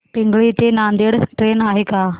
पिंगळी ते नांदेड ट्रेन आहे का